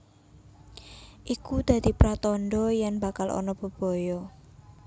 Iku dadi pratandha yen bakal ana bebaya